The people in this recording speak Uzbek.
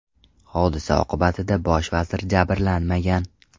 Hodisa oqibatida bosh vazir jabrlanmagan.